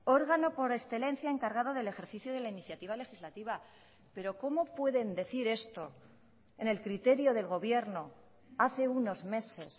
órgano por excelencia encargado del ejercicio de la iniciativa legislativa pero cómo pueden decir esto en el criterio del gobierno hace unos meses